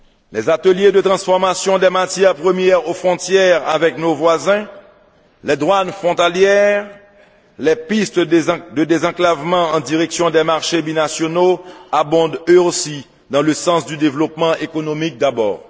gré. Les ateliers de transformations des matières premières aux frontières avec nos voisins, les douanes frontalières, les pistes de désenclavement en direction des marchés binationaux abondent eux aussi dans le sens du développement économique d'abord.